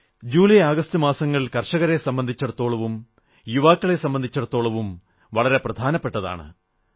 July August മാസങ്ങൾ കർഷകരെ സംബന്ധിച്ചിടത്തോളവും യുവാക്കളെ സംബന്ധിച്ചിടത്തോളവും വളരെ പ്രധാനപ്പെട്ടതാണ്